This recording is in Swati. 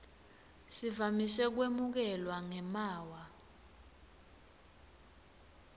sivamise kwemukelwa ngemaawa